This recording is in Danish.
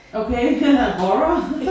Okay horror